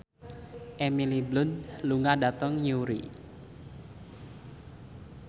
Emily Blunt lunga dhateng Newry